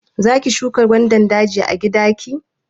Za ki shuka gwandan daji a gida ki?